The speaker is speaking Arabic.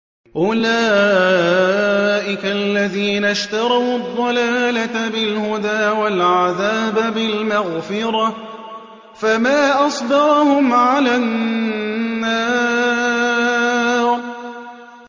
أُولَٰئِكَ الَّذِينَ اشْتَرَوُا الضَّلَالَةَ بِالْهُدَىٰ وَالْعَذَابَ بِالْمَغْفِرَةِ ۚ فَمَا أَصْبَرَهُمْ عَلَى النَّارِ